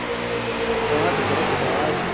पाँच बरस बाद